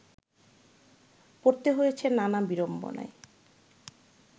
পড়তে হয়েছে নানা বিড়ম্বনায়